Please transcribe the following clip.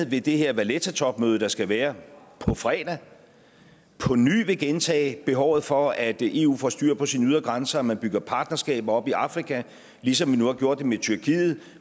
ved det her vallettatopmøde der skal være på fredag på ny vil gentage blandt behovet for at eu får styr på sine ydre grænser at man bygger partnerskaber op i afrika ligesom man nu har gjort det med tyrkiet